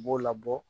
U b'o labɔ